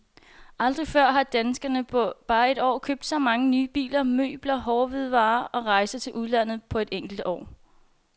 Aldrig før har danskerne på bare et år købt så mange nye biler, møbler, hårde hvidevarer og rejser til udlandet på et enkelt år.